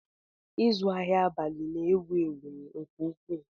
Ịzụ ahịa abalị na-ewu ewu nke ukwuu